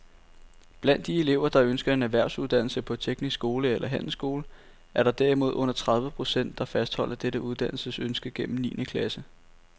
Blandt de elever, der ønsker en erhvervsuddannelse på teknisk skole eller handelsskole, er der derimod under tredive procent, der fastholder dette uddannelsesønske gennem niende klasse.